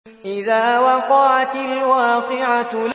إِذَا وَقَعَتِ الْوَاقِعَةُ